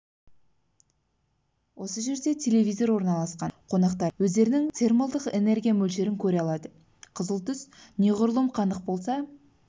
осы жерде тепловизор орналасқан қонақтарымыз өздерінің термолдық энергия мөлшерін көре алады қызыл түс неғұрлым қанық болса